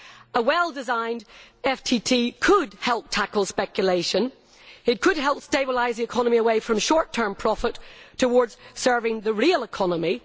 A well designed FTT could help tackle speculation, and it could help stabilise the economy away from short term profit towards serving the real economy.